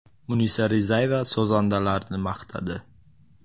Munisa Rizayeva sozandalarini maqtadi.